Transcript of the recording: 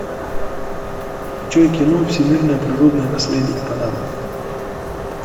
включай кино всемирное природное наследие панама